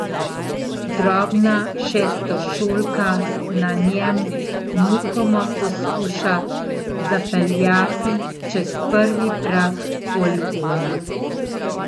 Drobna šestošolka na njem mukoma poskuša zapeljati čez prvi prag poligona.